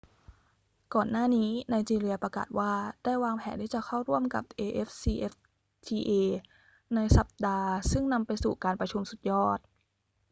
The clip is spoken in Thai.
ก่อนหน้านี้ไนจีเรียประกาศว่าได้วางแผนที่จะเข้าร่วมกับ afcfta ในสัปดาห์ซึ่งนำไปสู่การประชุมสุดยอด